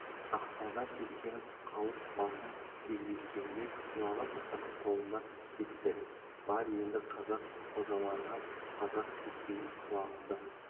ақназар сескеніп қалып басын кекжиткенде құлағы тықының қолында кетті бар енді қазақ қожаларыңа қазақ кеспеген құлағымды